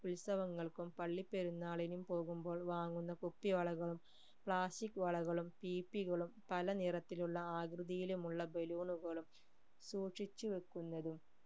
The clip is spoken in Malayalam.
ഉത്സവങ്ങൾക്കും പള്ളി പെരുന്നാളിനും പോകുമ്പോൾ വാങ്ങുന്ന കുപ്പിവളകളും plastic വളകളും പീപ്പികളും പല നിറത്തിലുമുള്ള ആകൃതിയിലുമുള് balloon കളും സൂക്ഷിച്ചു വെക്കുന്നതും